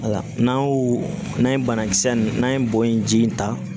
Wala n'an y'o n'an ye banakisɛ in n'an ye bo in ji in ta